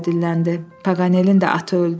Paqanelin də atı öldü.